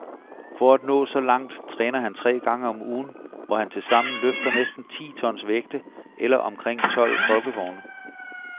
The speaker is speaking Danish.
For at nå så langt træner han tre gange om ugen, hvor han tilsammen løfter næsten ti tons vægte, eller omkring tolv folkevogne.